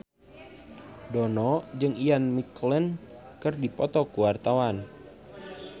Dono jeung Ian McKellen keur dipoto ku wartawan